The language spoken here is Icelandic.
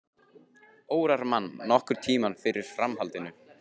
Órar mann nokkurn tímann fyrir framhaldinu.